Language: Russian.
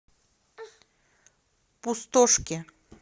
пустошке